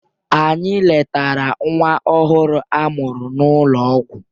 Anyị letara nwa ọhụrụ a mụrụ n'ụlọ ọgwụ